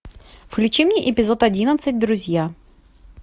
включи мне эпизод одиннадцать друзья